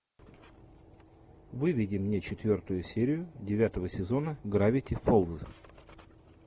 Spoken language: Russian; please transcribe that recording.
выведи мне четвертую серию девятого сезона гравити фолз